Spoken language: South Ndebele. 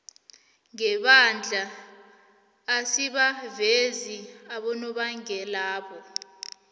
sebandla asibavezi abonobangelabo